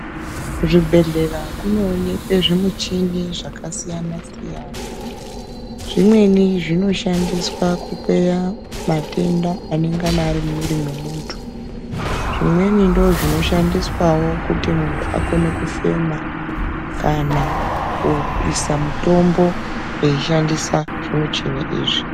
Kuzvibhedhlera kunoonekwe zvimichini zvakasiyana-siyana . Zvimweni zvinoshandisa kukweya matenda anengana ari mumwiri mwemuntu. Zvimweni ndozvinoshandiswawo kuti muntu akone kufema, kana kuisa mutombo weishandisa zvimuchini izvi.